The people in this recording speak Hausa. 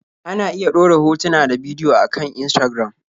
Ana iya ɗora hotuna ta bidiyo a kan Instagram.